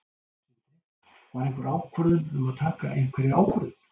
Sindri: Var einhver ákvörðun um að taka einhverja ákvörðun?